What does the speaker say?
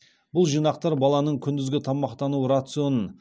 бұл жинақтар баланың күндізгі тамақтану рационын